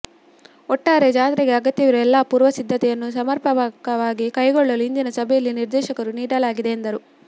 ಒಟ್ಟಾರೆ ಜಾತ್ರೆಗೆ ಅಗತ್ಯವಿರುವ ಎಲ್ಲಾ ಪೂರ್ವ ಸಿದ್ಧತೆಯನ್ನು ಸಮರ್ಪಕವಾಗಿ ಕೈಗೊಳ್ಳಲು ಇಂದಿನ ಸಭೆಯಲ್ಲಿ ನಿರ್ದೇಶನ ನೀಡಲಾಗಿದೆ ಎಂದರು